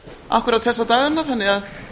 akkúrat þessa dagana þannig að